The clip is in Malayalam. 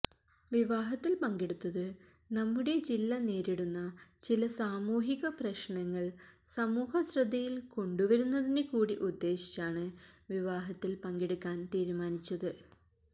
വിവാഹത്തില് പങ്കെടുത്തത് നമ്മുടെ ജില്ല നേരിടുന്ന ചില സാമൂഹിക പ്രശ്നങ്ങള് സമൂഹശ്രദ്ധയില് കൊണ്ടുവരുന്നതിന് കൂടി ഉദ്ദേശിച്ചാണ് വിവാഹത്തില് പങ്കെടുക്കാന് തീരുമാനിച്ചത്